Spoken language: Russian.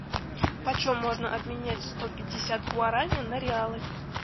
почем можно обменять сто пятьдесят гуарани на реалы